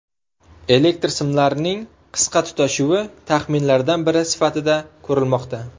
Elektr simlarining qisqa tutashuvi taxminlardan biri sifatida ko‘rilmoqda.